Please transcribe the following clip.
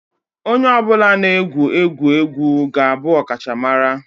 Onye ọ bụla na-egwu egwu egwu ga-abụ ọkachamara